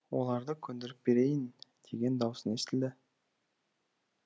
оларды көндіріп берейін деген дауыс естілді